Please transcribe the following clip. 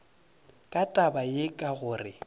ka taba ye ka gore